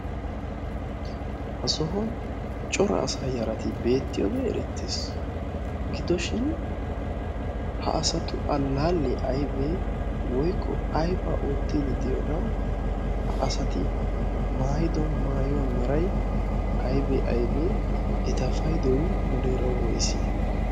Ha sohuwaan cora asaa yarati beettiyoogee erettes gidoshin ha asatu allaallee aybee woykko aybaa oottidi diyoonaa ha asati maayido maayuwaa meray aybee abee eta paydoy muleera woysee?